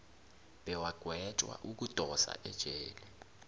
bewagwetjwa ukudosa ejele